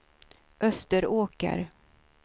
Österåker